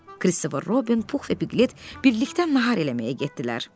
Kristofer Robin, Pux və Piqlet birlikdə nahar eləməyə getdilər.